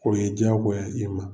O ye diyagoya ye i ma.